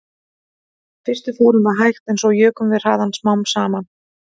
Í fyrstu fórum við hægt en svo jukum við hraðann smám saman